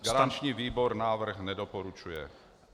Garanční výbor návrh nedoporučuje.